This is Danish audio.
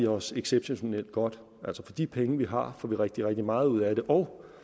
os exceptionelt godt altså for de penge vi har får vi rigtig rigtig meget ud af det og